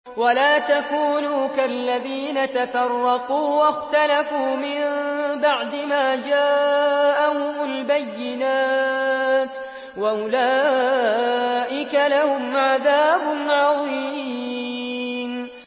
وَلَا تَكُونُوا كَالَّذِينَ تَفَرَّقُوا وَاخْتَلَفُوا مِن بَعْدِ مَا جَاءَهُمُ الْبَيِّنَاتُ ۚ وَأُولَٰئِكَ لَهُمْ عَذَابٌ عَظِيمٌ